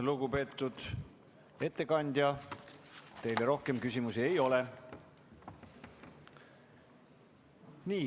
Lugupeetud ettekandja, teile rohkem küsimusi ei ole.